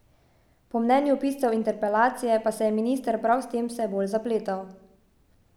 Po mnenju piscev interpelacije pa se je minister prav s tem vse bolj zapletal.